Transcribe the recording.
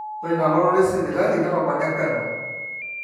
ore inalototo esipitali netopone peno